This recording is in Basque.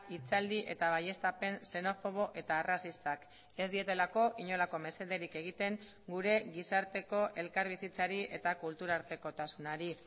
hitzaldi eta baieztapen xenofobo eta arrazistak ez dietelako inolako mesederik egiten gure gizarteko elkarbizitzari eta kultura artekotasunari